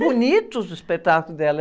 Bonitos os espetáculos dela.